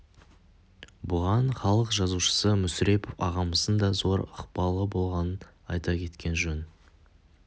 бұған халық жазушысы мүсірепов ағамыздың да зор ықпалы болғанын айта кеткен жөн